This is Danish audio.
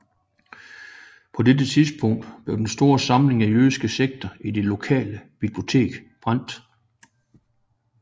På dette tidspunkt blev den store samling af jødiske tekster i det lokale bibliotek brændt